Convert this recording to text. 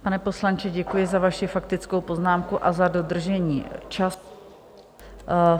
Pane poslanče, děkuji za vaši faktickou poznámku a za dodržení času.